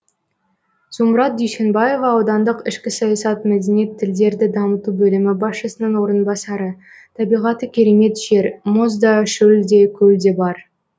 зумрад дүйсенбаева аудандық ішкі саясат мәдениет тілдерді дамыту бөлімі басшысының орынбасары табиғаты керемет жер мұз да шөл де көл де бар